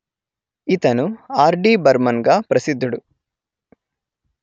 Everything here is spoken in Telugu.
ఇతను ఆర్డిబర్మన్ గా ప్రసిద్దుడు